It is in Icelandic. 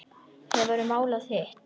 Hefurðu málað hitt?